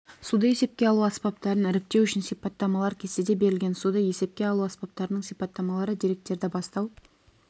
суды есепке алу аспаптарын іріктеу үшін сипаттамалар кестеде берілген суды есепке алу аспаптарының сипаттамалары деректерді бастау